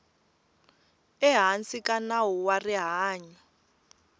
ehansi ka nawu wa rihanyu